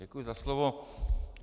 Děkuji za slovo.